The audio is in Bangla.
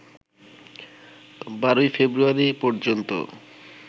১২ ফেব্রুয়ারি পর্যন্ত